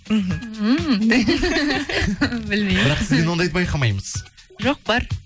іхі білмеймін бірақ сізден ондайды байқамаймыз жоқ бар